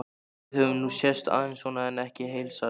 Við höfum nú sést aðeins svona en ekki heilsast.